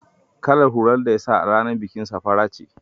Kalar hular da ya sa a ranar bikina fara ce.